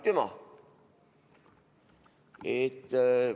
Aitüma!